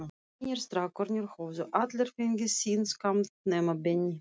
Hinir strákarnir höfðu allir fengið sinn skammt, nema Benni.